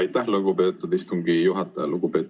Aitäh, lugupeetud istungi juhataja!